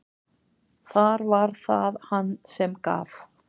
Þar var það hann sem gaf.